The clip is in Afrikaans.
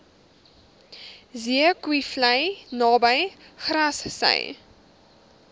zeekoevlei naby grassy